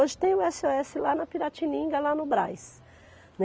Hoje tem o esseóesse lá na Piratininga, lá no Brás.